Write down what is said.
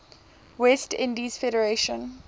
west indies federation